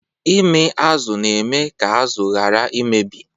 Ịmị azụ na-eme ka azụ ghara imebi.